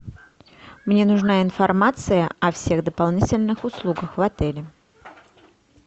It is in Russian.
мне нужна информация о всех дополнительных услугах в отеле